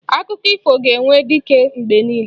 Akụkọ ifo ga-enwe dike mgbe niile